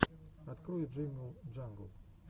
открой джингл джангл